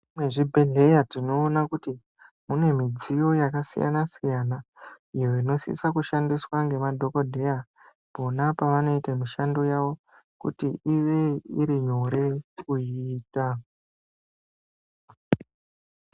Mukati mwezvibhedhleya tinoona kuti mune midziyo yakasiyana siyana iyo inosise kushandiswa ngemadhokodheya pona pavanoita mishando yavo kuti ive iri nyore kuiita.